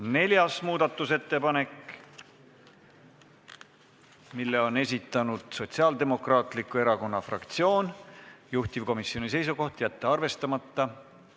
Neljas muudatusettepanek, mille on esitanud Sotsiaaldemokraatliku Erakonna fraktsioon, juhtivkomisjoni seisukoht: jätta arvestamata.